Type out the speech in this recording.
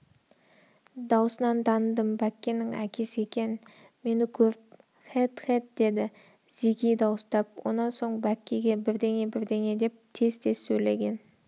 даусынан таныдым бәккенің әкесі екен мені көріп хээт хээт деді зеки дауыстап онан соң бәккеге бірдеңе-бірдеңе деп тез-тез сөйлеген